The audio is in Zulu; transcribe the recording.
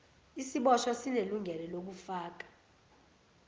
isiboshwa sinelungelo lokufaka